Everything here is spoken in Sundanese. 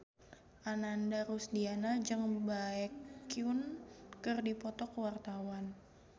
Ananda Rusdiana jeung Baekhyun keur dipoto ku wartawan